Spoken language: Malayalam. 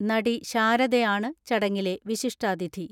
നടി ശാരദയാണ് ചടങ്ങിലെ വിശിഷ്ടാതിഥി.